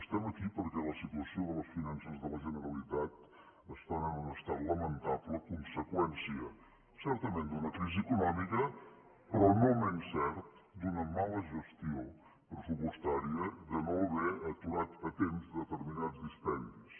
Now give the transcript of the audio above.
estem aquí perquè la situació de les finances de la generalitat està en un estat lamentable conseqüència certament d’una crisi econòmica però no menys cert d’una mala gestió pressupostària de no haver aturat a temps determinats dispendis